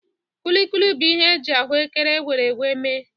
Kulikuli bụ ihe e ji ahụ ékẹrè egweri egweri mee.